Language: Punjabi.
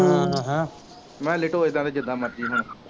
ਮੇਹਾ ਲਿਟੋ ਇਹਨਾ ਤੇ ਜੀਦਾ ਮਰਜੀ ਹੁਣ